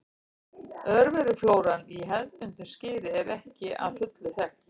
Örveruflóran í hefðbundnu skyri er ekki að fullu þekkt.